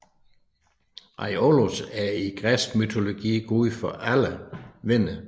Aiolos er i græsk mytologi gud for alle vinde